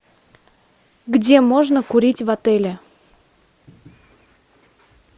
где можно курить в отеле